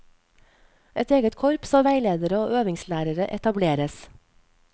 Et eget korps av veiledere og øvingslærere etableres.